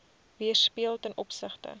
weerspieël ten opsigte